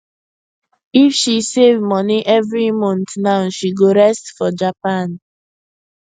if she save money every month now she go rest for japan